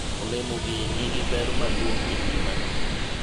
olemo gi nigi ber maduong' e ngimani